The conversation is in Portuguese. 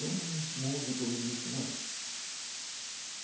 É um músico, me disse, não.